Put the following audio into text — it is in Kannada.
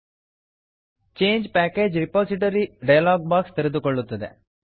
change package repository change package repository dialog box ತೆರೆದುಕೊಳ್ಳುತ್ತದೆ